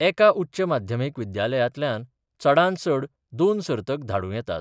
एका उच्च माध्यमिक विद्यालयातल्यान चडात चड दोन सर्तक धाडूं येतात.